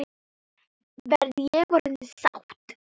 Verð ég orðin sátt?